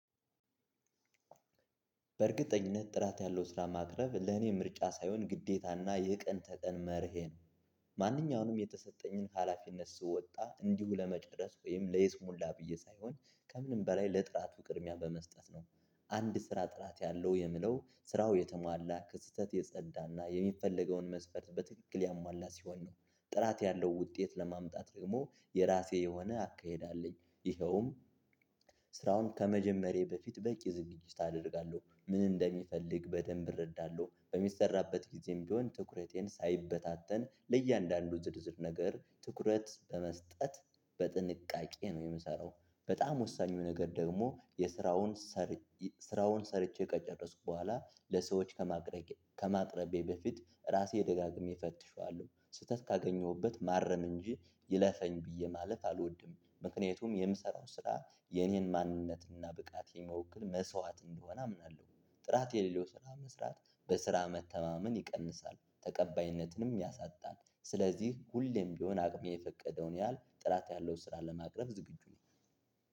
በእርግጠኝነት ጥራት ያለው ስራ ማቅረብ ለኔ ምርጫ ሳይሆን ግዴታና የቀን ተቀን መርሄ ነው። ማንኛውንም የተሰጠኝን ሀላፊነት ስወጣ እንዲሁ ለመጨረስ ወይም ለይስሙላ ብዬ ሳይሆን ከምንም በላይ ለጥራቱ ቅርሚያ በመስጠት ነው። አንድ ስራ ጥራት ያለው የምለው ስራው የተሟላ፣ ከስህተት የጸዳና የሚፈለገውን መስፈርት በትክክል ያሟላ ሲሆን ነው። ጥራት ያለው ውጤት ለማምጣት ደግሞ የራሴ የሆነ አካሄድ አለኝ። ይኸውም ስራውን ከመጀመሬ በፊት በቂ ዝግጅት አደርጋለሁ። ምን እንደሚፈልግ በደንብ እረዳለሁ። በሚሰራበት ጊዜም ቢሆን ትኩረቴን ሳይበታተን ለእያንዳንዱ ዝርዝር ነገር ትኩረት በመስጠት በጥንቃቄ ነው የምሰራው። በጣም ወሳኝ ነገር ደግሞ የስራውን ስራውን ሰርቼ ከጨረስኩ በኋላ ለሰዎች ከማቅረቤ በፊት ራሴ ደጋግሜ እፈትሼዋለሁ። ስህተት ካገኘሁበት ማረም እንጂ ይለፈኝ ብዬ ማለት አልወድም። ምክንያቱም የምሰራው ስራ የኔን ማንነትና ብቃት የሚወክል መስዋዕት እንደሆነ አምናለሁ። ጥራት የሌለው ስራ መስራት በስራ መተማመን ይቀንሳል። ተቀባይነትንም ያሳጣል። ስለዚህ ሁሌም ቢሆን አቅሜ የፈቀደውን ያህል ጥራት ያለው ስራ ለማቅረብ ዝግጁ ነኝ።